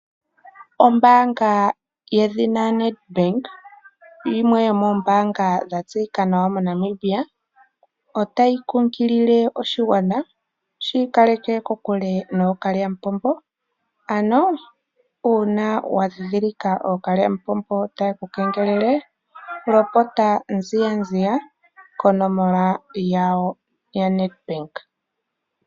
Ombaanga yedhina Nedbank yimwe yomoombaanga dha tseyika nawa moNamibia otayi kunkilile oshigwana shi ikaleke kokule nookalyamupombo, ano uuna wa dhindhilika ookalyamupombo taye ku kengelele lopota mbalambala konomola yawo yaNedbank.